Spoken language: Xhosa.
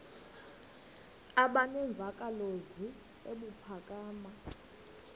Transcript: aba nemvakalozwi ebuphakama